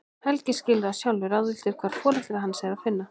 Helgi skilur það, sjálfur ráðvilltur hvar foreldra hans er að finna.